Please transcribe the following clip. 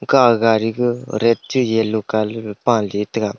da aga gari ka red chiga yellow colour gag paley taga.